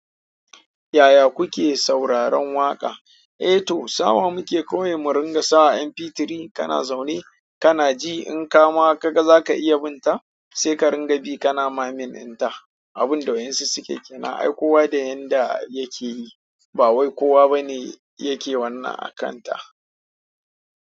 Yaya kuke sauraron waƙa? Eh to, sawa muke kowai mu ringa sawa MP3 kana zaune kana ji. In kama ka ga za ka iya bin ta, sai ka ringa bi kana mamin in ta. Abunda wasu sukeyi kenan ai kowa da yanda yakeyi ba wai kowa bane yake wanna a kanta.